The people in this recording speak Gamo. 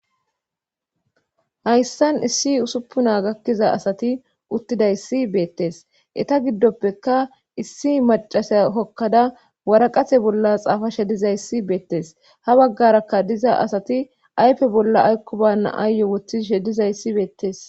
Hayssan issi usuppuna gakkiza asati uttidayssi beettes eta giddoppeka issi macasiya kokkada waraqase bolla xaafa shedizayssi beettes ha baggaraka diza asati aype bolla aykko banna aayye wothi shedizayssi beettes.